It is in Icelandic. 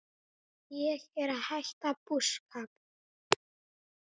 Ég er að hætta búskap.